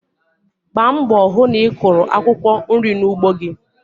Gbaa mbọ hụ na ị kụrụ akwụkwọ nri n'ugbo gi.